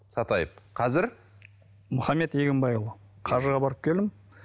сатаев қазір мұхаммед егінбайұлы қажыға барып келдім